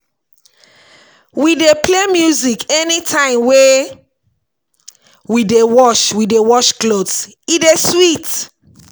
We dey play music anytime wey we dey wash we dey wash clothes, e dey sweet.